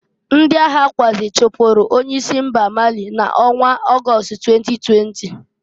Ndị aghakwuazị chupuru onye isi ala mba Mali na onwa August 2020.